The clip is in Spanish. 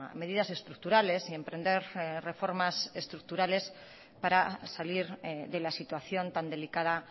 medidas estructurales y emprender reformas estructurales para salir de la situación tan delicada